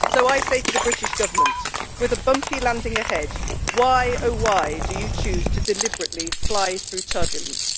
So I say to the British government with a bumpy landing ahead why, oh why, do you choose to deliberately fly through turbulence?